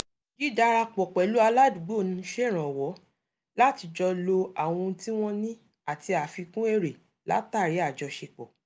dídarapọ̀ pẹ̀lú aládùúgbò ń ṣèrànwọ́ láti jọ lo àwọn ohun tí wọn ní ati àfikún èrè látàri àjoṣepọ̀